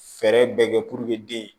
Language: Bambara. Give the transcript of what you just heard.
Fɛɛrɛ bɛɛ kɛ den